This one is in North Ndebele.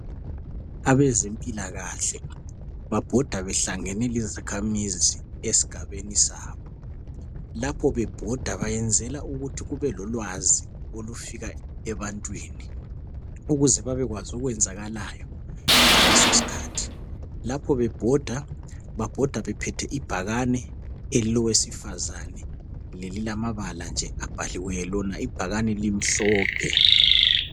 Abazempilakahle babhoda behlangene lezakhamizi esigabeni sabo. Lapho bebhoda bayenzela ukuthi kubelolwazi olufika ebantwini ukuze babekwazi okwenzakalayo ngalesosikhathi. Lapho bebhoda, babhoda bephethe ibhakani elilowesifazana lelilamabala nje abhaliweyo, lona ibhakani limhlophe.